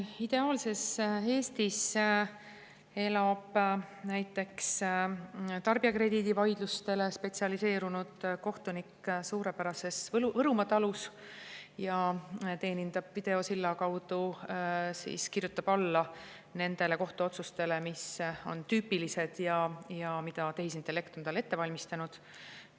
Ideaalses Eestis elab näiteks tarbijakrediidivaidlustele spetsialiseerunud kohtunik suurepärases Võrumaa talus ja teenindab videosilla kaudu, näiteks kirjutab alla nendele kohtuotsustele, mis on tüüpilised ja mis tehisintellekt on talle ette valmistanud.